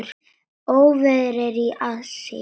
Óveður er í aðsigi.